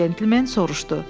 Gənc centlmen soruşdu.